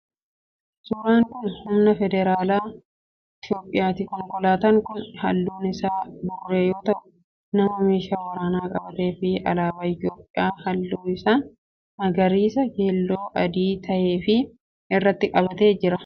Suuraan kun humna federaalaa itiyoophiyaati. Konkolaatan kun halluun isaa burree yoo tahu, nama meeshaa waraanaa qabatee fi alaabaa itiyoophiyaa halluun isaa magariisa, keelloo fi adii tahee of irratti qabatee jira.